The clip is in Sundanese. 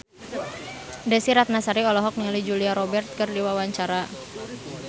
Desy Ratnasari olohok ningali Julia Robert keur diwawancara